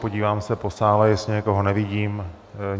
Podívám se po sále, jestli někoho nevidím.